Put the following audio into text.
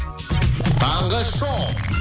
таңғы шоу